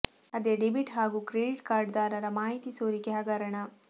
ಅದೇ ಡೆಬಿಟ್ ಹಾಗೂ credit card ದಾರರ ಮಾಹಿತಿ ಸೋರಿಕೆ ಹಗರಣ